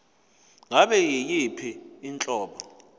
ngabe yiyiphi inhlobo